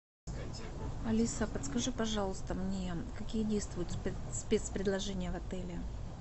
алиса подскажи пожалуйста мне какие действуют спецпредложения в отеле